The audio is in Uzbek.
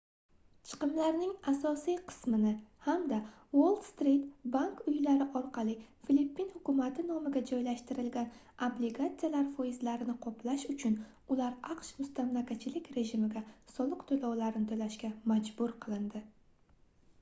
chiqimlarning asosiy qismini hamda uoll-strit bank uylari orqali filippin hukumati nomiga joylashtirilgan obligatsiyalar foizlarini qoplash uchun ular aqsh mustamlakachilik rejimiga soliq toʻlovlarini toʻlashga majbur qilindi